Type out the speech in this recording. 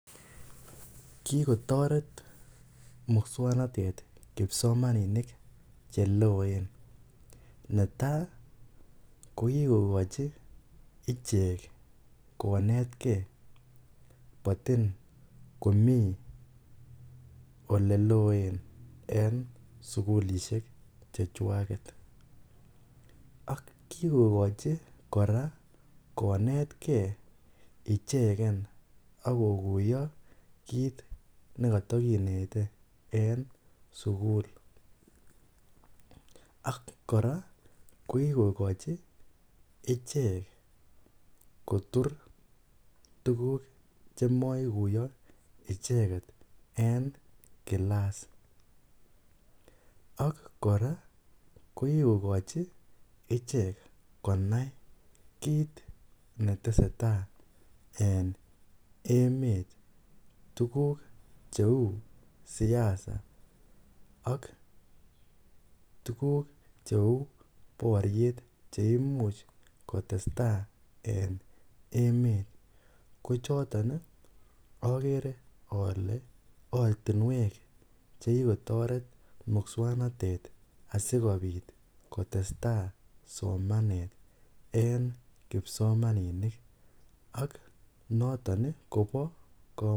Kikotoret muswoknotet kipsomaninik cheloen, netaa ko kikokochi ichek konetke motin komii eleloen en sukulishek chechwaket ak kikokochi kora konetke icheken ak kokuiyo kiit nekotokinete en sukul ak kora ko kikokochi ichek kotur tukuk chemokuyo icheket en kilas, ak kora ko kikokochi ichek konai kiit neteseta ene emet tukuk cheu siasa ak tukuk cheuu boriet cheimuch kotesta en emet kochoton okere olee ortinwek chekikotoret muswoknotet asikobit kotesta somanet en kipsomaninik ak noton kobo komonut.